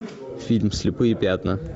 фильм слепые пятна